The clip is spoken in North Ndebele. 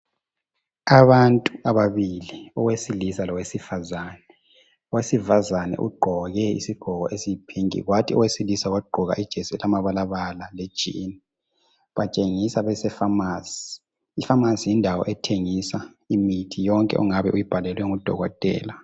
Abantu ababili owesilisa lowesifazane owesifazane ugqoke isigqoko esiyi pinky wathi owesilisa wagqoka esilamabalabala lejini batshengisa befamasi ifamasi yindawo ethengisa imithi yonke ongabe uyubhalelwe ngudokotele.